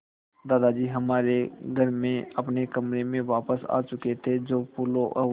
दादाजी हमारे घर में अपने कमरे में वापस आ चुके थे जो फूलों और